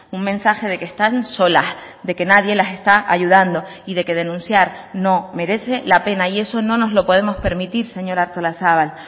un mensaje de que están solas de que nadie las está ayudando y de que denunciar no merece la pena y eso no nos lo podemos permitir señora artolazabal